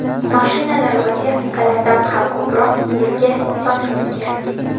Mashinalar va texnikalardan ham ko‘proq bizga insoniylik kerak.